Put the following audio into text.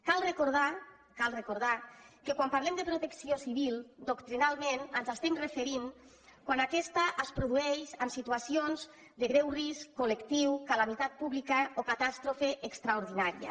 cal recordar cal recordar que quan parlem de protecció civil doctrinalment ens estem referint quan aquesta es produeix en situacions de greu risc collectiu calamitat pública o catàstrofe extraordinària